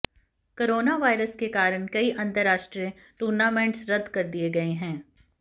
coronavirus के कारण कई अंतर्राष्ट्रीय टूर्नामेंट्स रद्द कर दिए गए हैं